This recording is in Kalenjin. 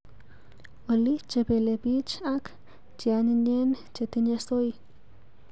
Olly chepelepich ak cheanyinyen chetinye soy.